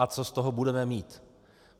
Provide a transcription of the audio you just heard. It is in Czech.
A co z toho budeme mít?